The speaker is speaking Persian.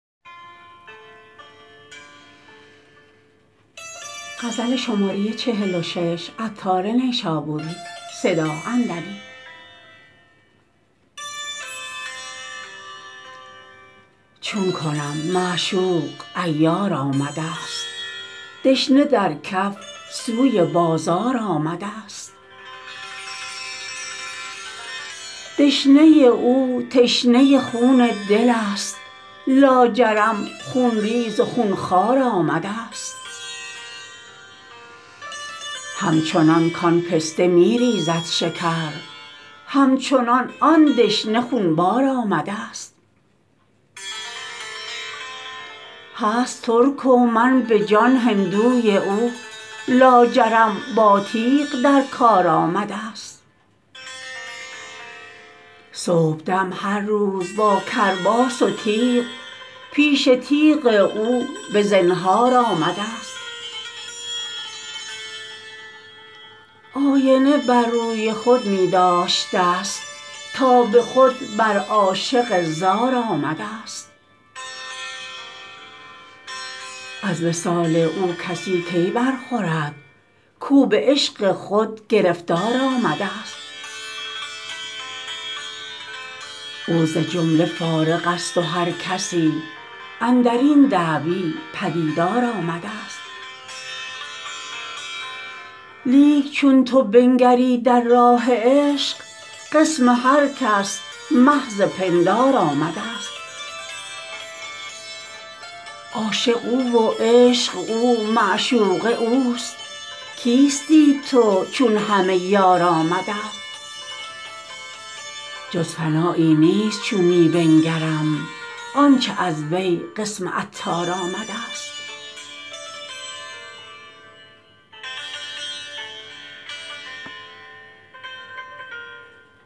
چون کنم معشوق عیار آمدست دشنه در کف سوی بازار آمدست دشنه او تشنه خون دل است لاجرم خونریز و خونخوار آمدست همچنان کان پسته می ریزد شکر همچنان آن دشنه خونبار آمدست هست ترک و من به جان هندوی او لاجرم با تیغ در کار آمدست صبحدم هر روز با کرباس و تیغ پیش تیغ او به زنهار آمدست آینه بر روی خود می داشتست تا به خود بر عاشق زار آمدست از وصال او کسی کی برخورد کو به عشق خود گرفتار آمدست او ز جمله فارغ است و هر کسی اندرین دعوی پدیدار آمدست لیک چون تو بنگری در راه عشق قسم هر کس محض پندار آمدست عاشق او و عشق او معشوقه اوست کیستی تو چون همه یار آمدست جز فنایی نیست چون می بنگرم آنچه از وی قسم عطار آمدست